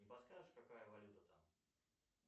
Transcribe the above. не подскажешь какая валюта там